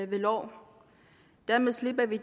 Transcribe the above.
ved lov dermed slipper vi